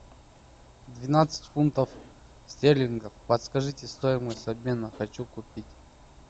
двенадцать фунтов стерлингов подскажите стоимость обмена хочу купить